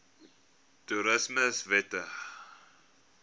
toerismewette